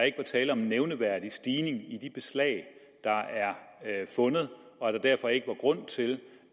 ikke var tale om en nævneværdig stigning i de beslag der er fundet og at der derfor ikke var grund til